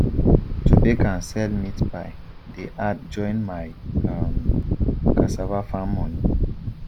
to bake and sell meat pie dey add join my um cassava farm money